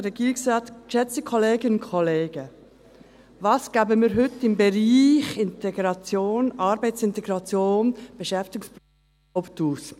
Was geben wir heute im Bereich Integration, Arbeitsintegration, Beschäftigungsprogramme überhaut aus?